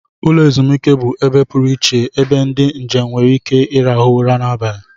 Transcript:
Ụlọ ezumike bụ ebe pụrụ iche ebe ndị njem nwere ike ịrahụ ụra n'abalị